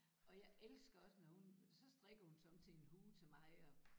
Og jeg elsker også når hun så strikker hun somme tider en hue til mig og